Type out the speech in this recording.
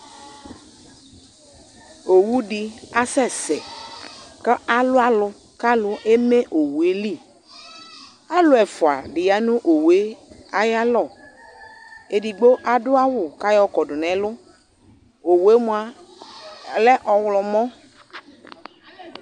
Owu de asɛsɛ ka alo alu ka alu eme owue li Alu ɛfia ya no owue ayalɔ, edigbo ado awu ka yɔ kɔdo nalɔOwue moa lɛ ɔwlɔmɔ